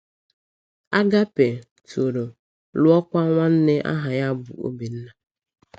Agápé toro, lụọkwa nwanna aha ya bụ Obinna.